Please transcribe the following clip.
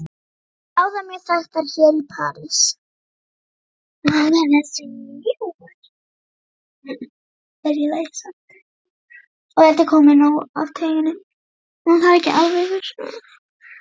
Báðar mjög þekktar hér í París.